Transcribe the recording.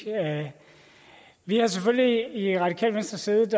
vi har selvfølgelig i radikale venstre siddet